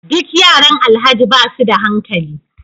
Duk yaran alhaji basuda hankali